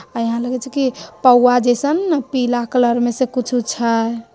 और यहाँ लगे छे की पाऊआ जैसे पीला कलर में कुछ वूछ है।